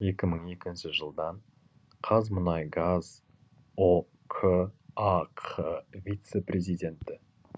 екі мың екінші жылдан қазмұнайгаз ұк ақ вице президенті